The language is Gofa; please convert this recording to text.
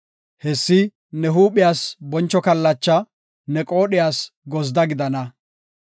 Hessi ne huuphiyas boncho kallacha; ne qoodhiyas gozda gidana.